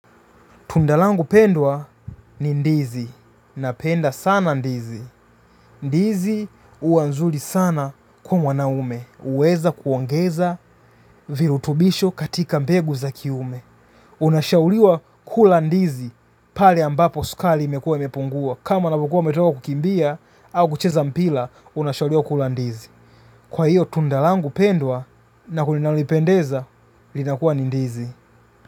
Tundalangu pendwa ni ndizi. Napenda sana ndizi. Ndizi huwa nzuri sana kwa mwanaume. Uweza kuangeza virutubisho katika mpegu za kiume. Unashauriwa kula ndizi. Pale ambapo sukali imekua imepungua. Kama una bukua umetoka kukimbia au kucheza mpila, unashauriwa kula ndizi. Kwa hiyo, tundalangu pendwa na kulinalipendeza, linakuwa ni ndizi.